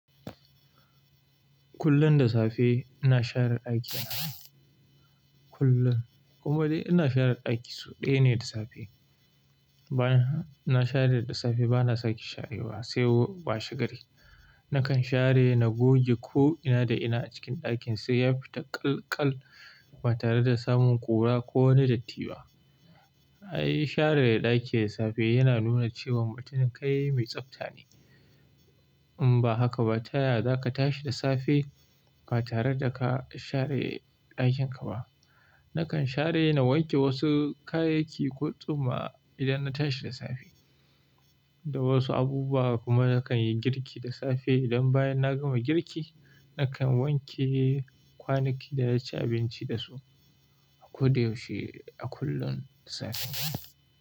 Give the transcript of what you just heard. Kullum da safe ina share ɗaki na. Kullum, kuma dai ina share ɗaki so ɗaya ne da safe. Bayan na share da safe bana sake sharewa sai washe gari. Nakan share na goge ko ina da ina a cikin ɗakin sai ya fita ƙalkal ba tare da samun ƙura ko wani datti ba. Ai share ɗaki da safe yana nuna cewan mutum kai mai tsafta ne. In ba haka ba, ta yaya za ka tashi da safe ba tare da ka share ɗakin ka ba? Nakan share na wanke wasu kayayyaki ko tsuma idan na tashi da safe. Da wasu abubuwa kuma nakan yi girki da safe. Idan bayan na gama girki, nakan wanke kwanaki da na ci abinci da su a ko da yaushe, a kullum da safe.